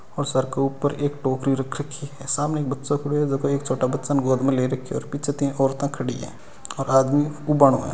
ओ सर के ऊपर एक टोकरी रख रखी है सामने एक बच्चो खड़्यो है जाको एक छोटा बच्चा न गोद में ले राख्यो है और पीछ तीन औरता खड़ी है और आदमी उबानो है।